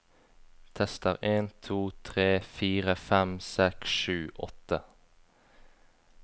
Tester en to tre fire fem seks sju åtte